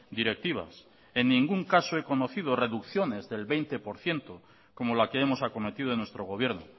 directivas en ningún caso he conocido reducciones del veinte por ciento como la que hemos acometido en nuestro gobierno